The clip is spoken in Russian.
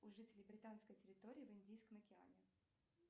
у жителей британской территории в индийском океане